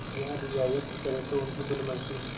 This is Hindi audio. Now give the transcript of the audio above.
यह रियायत करें तो उनकी भलमनसी